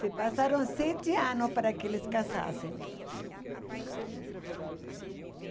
Se passaram sete anos para que eles casassem, ãh